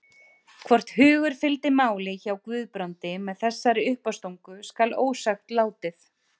Hvort hugur fylgdi máli hjá Guðbrandi með þessari uppástungu skal ósagt látið.